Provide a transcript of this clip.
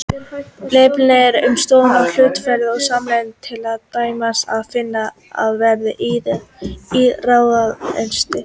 Leiðbeiningar um stofnun hlutafélaga og sameignarfélaga er til dæmis að finna á vef iðnaðarráðuneytisins.